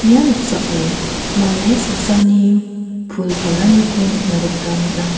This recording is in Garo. ia noksao mande saksani pul palaniko nikna gita man·a.